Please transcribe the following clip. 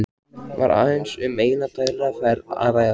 Var aðeins um eina daglega ferð að ræða.